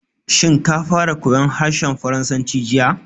Shin ka fara koyan harshen Faransanci jiya?